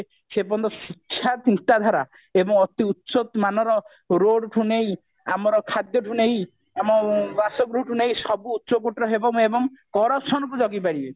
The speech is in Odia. ସେ ପର୍ଯ୍ୟନ୍ତ ଶିକ୍ଷା ଚିନ୍ତାଧାରା ଏବଂ ଅତି ଉଚ୍ଚ ମାନର road ଠୁ ନେଇ ଆମର ଖାଦ୍ଯଠୁ ନେଇ ଆମ ବାସଗୃହଠୁ ନେଇ ସବୁ ଉଚ୍ଚକୋଟିର ହେବ ଏବଂ corruption କୁ ଜଗି ପାରିବେ